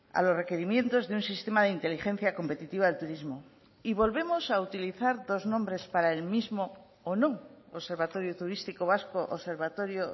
a los requerimientos de un sistema de inteligencia competitiva del turismo y volvemos a utilizar dos nombres para el mismo o no observatorio turístico vasco observatorio